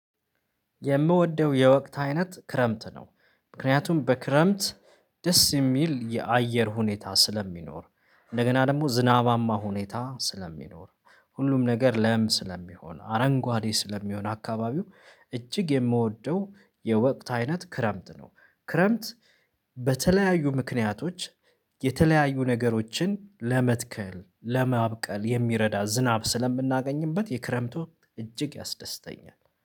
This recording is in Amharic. የምወደው የወቅት አይነት ክረምት ነው ምክንያቱም በክረምት ደስ የሚል የአየር ሁኔታ ስለሚኖር እንደገና ደግሞ ዝናባማ ሁኔታ ስለሚኖር ሁሉም ነገር ለም ስለሚሆን አረንጓዴ ስለሚሆን አካባቢው እጅግ የምወደው። የወቅት አይነት ክረምት ነው። ክረምት በተለያዩ ምክንያቶች። የተለያዩ ነገሮችን ለመትከል ለማብቀል የሚረዳ ዝናብ ስለምናገኝበት የክረምቱ እጅግ ያስደስተኛል